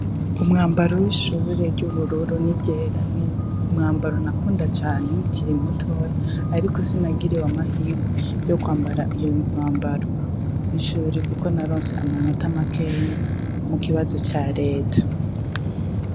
Umwambaro w'ishure ry'ubururu n'iryera ni umwambaro nakunda cane nkikiri mutoya Ariko sinagiriwe amahirwe yo kwambara uwo umwambaro w'ishure kuko naronse amanota make mukibano ca Reta.